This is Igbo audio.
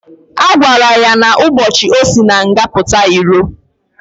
Agwara ya na ụbochi osi na nga puta ilo.